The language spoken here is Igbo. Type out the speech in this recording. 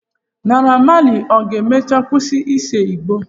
Naira Malị ọ ga-emecha kwụsị ise Igbo?